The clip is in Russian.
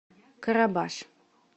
карабаш